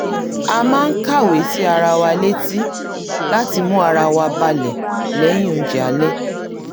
a máa ń kàwé sí ara wa létí láti mú ara wa balẹ̀ lẹ́yìn oúnjẹ alẹ́